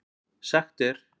Sagt er